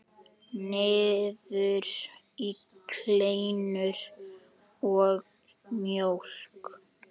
Niður í kleinur og mjólk.